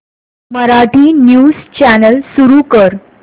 Marathi news channel सुरू कर